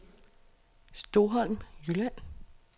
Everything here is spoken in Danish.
Stoholm Jylland